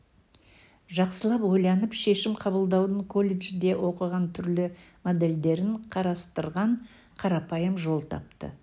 жақсылап ойланып шешім қабылдаудың колледжде оқыған түрлі модельдерін қарастырған қарапайым жол тапты